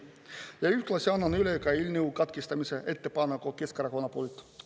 Ja ühtlasi annan üle eelnõu katkestamise ettepaneku Keskerakonna poolt.